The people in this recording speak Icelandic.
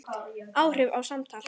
Áhrif og samtal